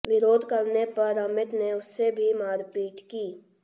विरोध करने पर अमित ने उससे भी मारपीट की